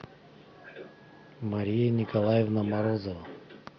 мария николаевна морозова